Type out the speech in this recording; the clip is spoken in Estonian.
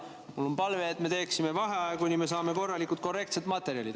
Mul on palve, et me teeksime vaheaja, kuni me saame korralikud, korrektsed materjalid.